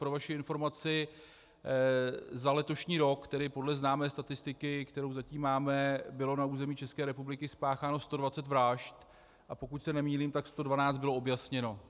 Pro vaši informaci, za letošní rok, tedy podle známé statistiky, kterou zatím máme, bylo na území České republiky spácháno 120 vražd, a pokud se nemýlím, tak 112 bylo objasněno.